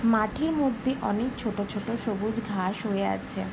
মাঠের মধ্যে অনেক ছোট ছোট সবুজ ঘাস হয়ে আছে।